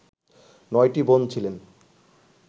নয়টি বোন ছিলেন